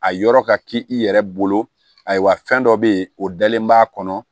A yɔrɔ ka k'i yɛrɛ bolo ayiwa fɛn dɔ bɛ ye o dalen b'a kɔnɔ